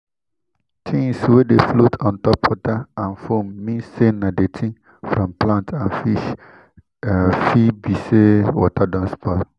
things wey dey float on top water and foam mean say na dirty from plant and fish fit be say water don spoil